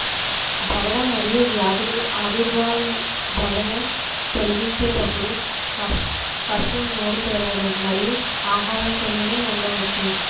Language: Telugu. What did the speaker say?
దవడ మరియు వ్యాధులు ఆవిర్భావం దవడల తొలగించేటప్పుడు కష్టం నోరు తెరవడం మరియు ఆహార తినడం ఉండవచ్చు